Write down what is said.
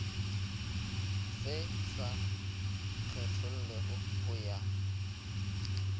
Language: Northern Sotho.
se sa kgethollego go ya